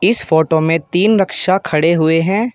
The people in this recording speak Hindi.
इस फोटो में तीन रिक्शा खड़े हुए हैं।